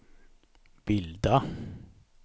bilda